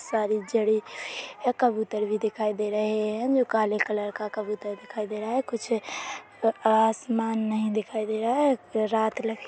सारे जड़े यहाँ कबूतर भी दिखाई दे रहे हे जो काले कलर का कबूतर दिखाई दे रहा हे कुछ आसमान नहीं दिखाई दे रहा है रात--